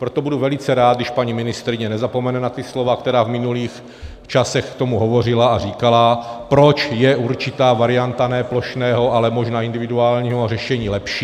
Proto budu velice rád, když paní ministryně nezapomene na ta slova, která v minulých časech k tomu hovořila, a říkala, proč je určitá varianta ne plošného, ale možná individuálního řešení lepší.